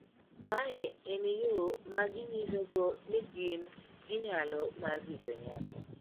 Mae en yo maginyisogo ni gin gi nyalo mar rito nyako.